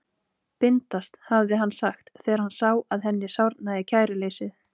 Bindast, hafði hann sagt, þegar hann sá að henni sárnaði kæruleysið.